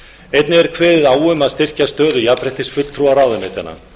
einnig er kveðið á um að styrkja stöðu jafnréttisfulltrúa ráðuneytanna